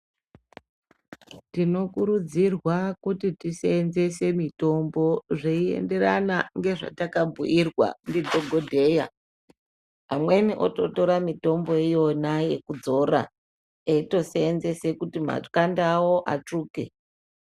Tinokurudzirwa kuti tisenzese mitombo zveiennderana nezvatakabhuirwa ndidhokodheya amweni ototara mitombo iyona yekudzora eitosenzesa kuti makange awo atsvuke.